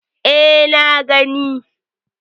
E, na gani.